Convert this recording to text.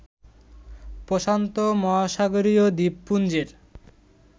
প্রশান্ত মহাসাগরীয় দ্বীপপুঞ্জের